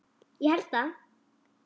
Ég held það?